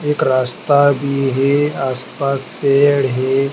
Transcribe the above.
एक रास्ता भी है आस पास पेड़ है।